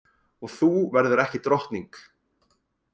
Og þú verður ekki drottning.